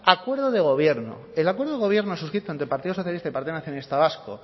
acuerdo de gobierno el acuerdo de gobierno suscrito entre partido socialista y partido nacionalista vasco